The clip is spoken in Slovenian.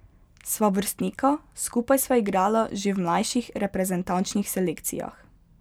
Sva vrstnika, skupaj sva igrala že v mlajših reprezentančnih selekcijah.